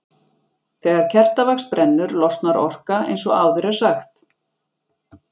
Þegar kertavax brennur losnar orka eins og áður er sagt.